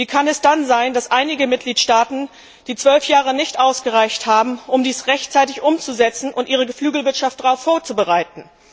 Wie kann es dann sein, dass einigen Mitgliedstaaten die zwölf Jahre nicht ausgereicht haben, um dies rechtzeitig umzusetzen und ihre Geflügelwirtschaft darauf vorzubereiten?